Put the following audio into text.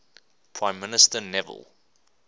prime minister neville